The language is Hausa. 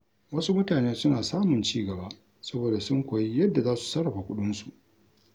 Wasu mutane suna samun ci gaba saboda sun koyi yadda za su sarrafa kuɗinsu.